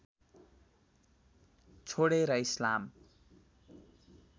छोडेर इस्लाम